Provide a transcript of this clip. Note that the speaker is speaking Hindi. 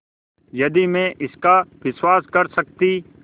यदि मैं इसका विश्वास कर सकती